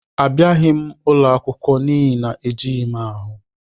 Abịaghị m ụlọ akwụkwọ n'ihi na ejighị m ahụ.